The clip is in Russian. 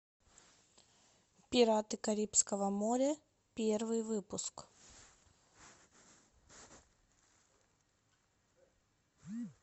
пираты карибского моря первый выпуск